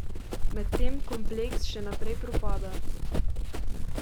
Medtem kompleks še naprej propada.